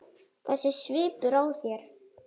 Þessi svipur á þér.